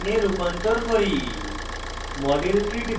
এখন ethene ethene কে ethyne ethyne এ রূপান্তর করি